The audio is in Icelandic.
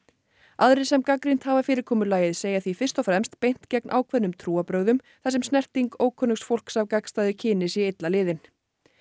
aðrir sem gagnrýnt hafa fyrirkomulagið segja því fyrst og fremst beint gegn ákveðnum trúarbrögðum þar sem snerting ókunnugs fólks af gagnstæðu kyni sé illa liðin